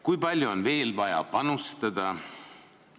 Kui palju on veel vaja panustada?